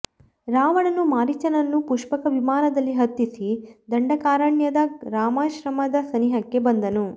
ರಾವಣನು ಮಾರೀಚನನ್ನು ಪುಷ್ಪಕ ವಿಮಾನದಲ್ಲಿ ಹತ್ತಿಸಿ ದಂಡಕಾರಣ್ಯದ ರಾಮಾಶ್ರಮದ ಸನಿಹಕ್ಕೆ ಬಂದನು